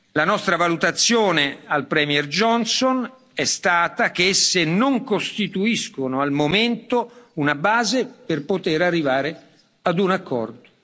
La nostra valutazione al Premier Johnson è stata che esse non costituiscono, al momento, una base per poter arrivare a un accordo.